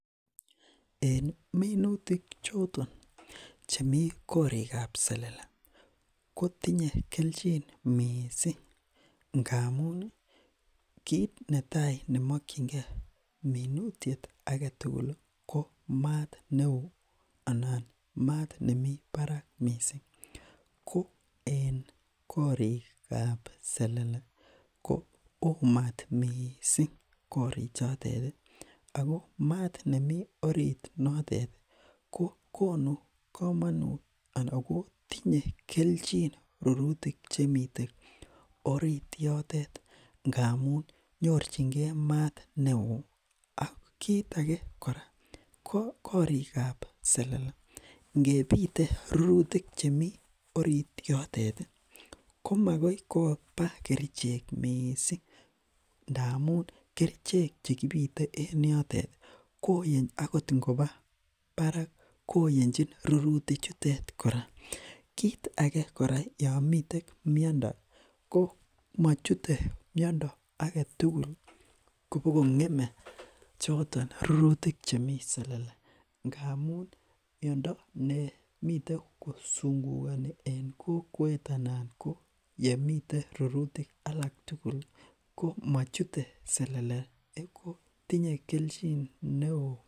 En minutik choton chemi gorikab selele, kotinye kelchin mising ngamun ii, kiit ne tai ne mokchinkei minutiet ake tugul ii, ko maat ne oo anan maat nemi barak mising, ko en gorikab selele ko oo maat mising gorichotet ii, ako maat nemi orit notet ii, ko konu kamanut ako tinye kelchin rurutik chemite orit yotet ngamun nyorchinkei maat ne oo, ak kiit ake kora, gorikab selele ngepite rurutik chemi orit yotet ii, komakoi koba kerichek mising ndamun, kerichek che kipite en yotet ii akot ing koba barak koyenchin rurutichutet kora, kiit ake kora yomiten miondo, ko machute miondo ake tugul kobo kongemen choton rurutik chemi selele, ngamun miondo nemiten ko sungukoni en kokwet anan ko yemite rurutik alak tugul, ko machute selele ko tinye kelchin ne oo.